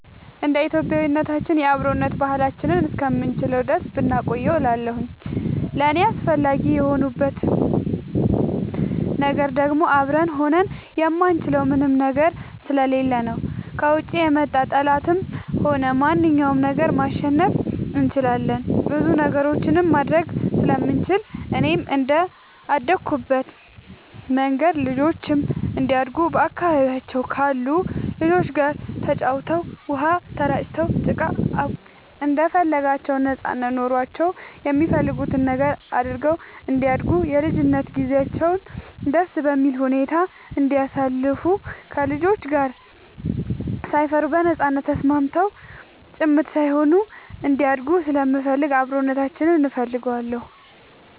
እንደ ኢትዮጵያዊነታችን የአብሮነት ባህላችንን እስከምንችለው ድረስ ብናቆየው እላለሁኝ። ለእኔ አስፈላጊ የሆንበት ነገር ደግሞ አብረን ሆነን የማንችለው ምንም ነገር ስለሌለ ነው። ከውጭ የመጣ ጠላትንም ሆነ ማንኛውንም ነገር ማሸነፍ እንችላለን ብዙ ነገሮችንም ማድረግ ስለምንችል፣ እኔም እንደአደኩበት መንገድ ልጆቼም እንዲያድጉ በአካባቢያቸው ካሉ ልጆች ጋር ተጫውተው, ውሃ ተራጭተው, ጭቃ አቡክተው እንደፈለጋቸው ነጻነት ኖሯቸው የሚፈልጉትን ነገር አድርገው እንዲያድጉ የልጅነት ጊዜያቸውን ደስ በሚል ሁኔታ እንዲያሳልፉ ከልጆች ጋር ሳይፈሩ በነጻነት ተስማምተው ጭምት ሳይሆኑ እንዲያድጉ ስለምፈልግ አብሮነታችንን እፈልገዋለሁ።